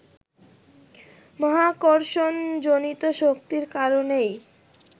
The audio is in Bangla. মহাকর্ষণ-জনিত শক্তির কারণেই